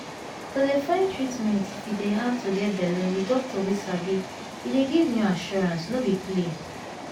to dey find treatment if e dey hard to get belle with doctor wey sabi e dey give new assurance no be play